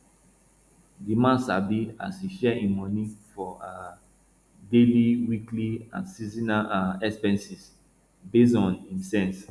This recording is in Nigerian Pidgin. the man sabi as e share im money for um daily weekly and seasonal um expenses based on im sense